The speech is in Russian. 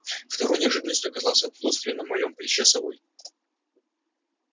второй неожиданностью оказалось отсутствие на моем плече совы